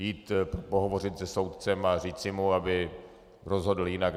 Jít pohovořit se soudcem a říci mu, aby rozhodl jinak?